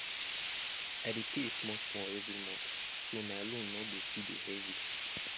i dey pay small small every month so my loan no go too dey heavy